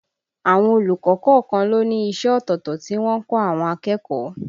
Àwọn olùkọ́ kọ̀ọ̀kan ló ní iṣẹ́ ọ̀tọ̀ọ̀tọ̀ tí wọ́n ń kọ́ àwọn akẹ́kọ̀ọ́